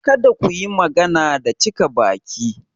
Kada ku yi magana da cika baki!